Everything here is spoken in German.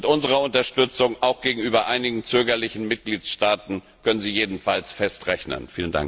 Mit unserer Unterstützung, auch gegenüber einigen zögerlichen Mitgliedstaaten können Sie jedenfalls fest rechnen.